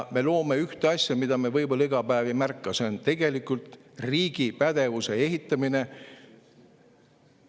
Me loome ühte asja, mida me võib-olla iga päev ei märka, see on tegelikult riigi pädevuse ehitamine.